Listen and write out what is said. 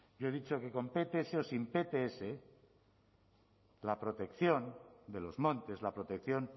yo he dicho que con pts o sin pts la protección de los montes la protección